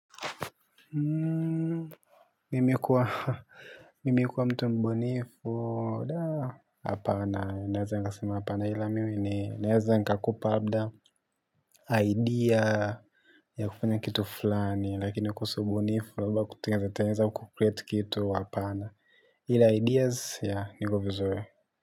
Nimekua mtu mbunifu hapana. Mie kwa mtombeni, kwa hapana. Nazaa mapana ilami. Najwa kakopa, idea ya kufanya kitu fulani, lakini kusubirifula kwa kutengeneza, kucreate kitu, hapana. Ila ideas yaingo vizuri. Kitu fulani, lakini kusubu nifu laba kutenza tenza u kukreate kitu wapana, ila ideas ya, nigo vizuwe.